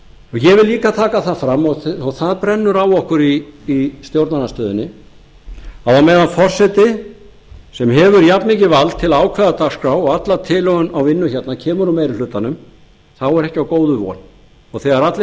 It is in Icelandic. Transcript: ég vil líka taka það fram og það brennur á okkur í stjórnarandstöðunni að meðan forseti sem hefur jafnmikið vald til að ákveða dagskrá og alla tilhögun á vinnu kemur frá meiri hlutanum þá er ekki á góðu von og þegar allir